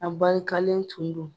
Abarikalen tun don.